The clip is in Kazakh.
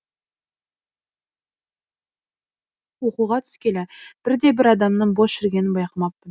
оқуға түскелі бірде бір адамның бос жүргенін байқамаппын